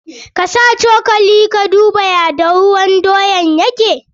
Ka sa cokali ka duba ya dahuwan doyan yake.